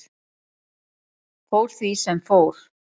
Fór því sem fór.